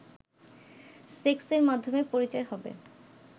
সেক্সের মাধ্যমেই পরিচয় হবে